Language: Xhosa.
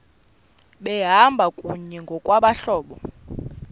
behamba kunye ngokwabahlobo